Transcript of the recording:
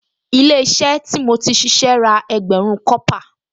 Ilé-iṣẹ́ tí mo ti ṣíṣe ra ẹgbẹ̀rún kọ́pà